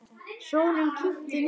Snjónum kyngdi niður.